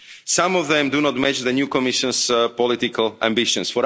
Some of them do not mention the new Commission's political ambitions